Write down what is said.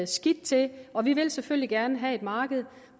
skidt til og vi vil selvfølgelig gerne have et marked